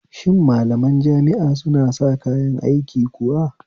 Shin malaman jami'a suna sa kayan aiki kuwa?